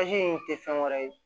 in tɛ fɛn wɛrɛ ye